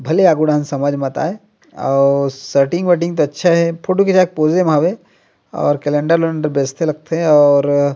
भले आगु डाहन समझ मत आए अउ शर्टिंग वर्टिंग तो अच्छा हे फोटो खिचाय के पोजे म हावे अउ केलेंडर वेलेंडर बेचते लगते और--